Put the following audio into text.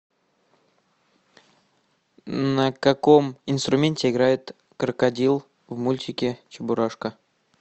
на каком инструменте играет крокодил в мультике чебурашка